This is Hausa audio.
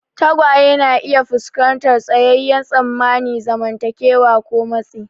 Tagwaye na iya fuskantar tsayayyen tsammanin zamantakewa ko matsi.